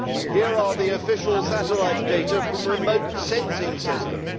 Here are the official satellite data from remote sensing systems.